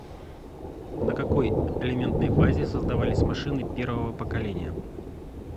на какой элементной базе создавались машины первого поколения